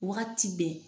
Waati bɛɛ